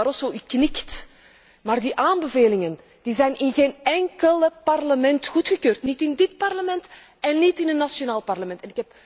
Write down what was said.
Mijnheer Barroso, u knikt, maar die aanbevelingen zijn in geen enkel Parlement goedgekeurd, niet in dit Parlement en niet in een nationaal parlement.